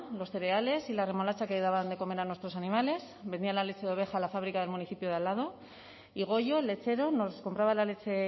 los cereales y la remolacha que daban de comer a nuestros animales vendían la leche de oveja a la fábrica del municipio de al lado y goyo el lechero nos compraba la leche